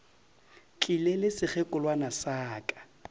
tlile le sekgekolwana sa ka